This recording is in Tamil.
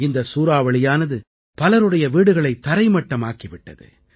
இந்தச் சூறாவளியானது பலருடைய வீடுகளைத் தரைமட்டமாக்கி விட்டது